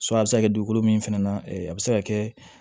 a bɛ se ka dugukolo min fɛnɛ a bɛ se ka kɛ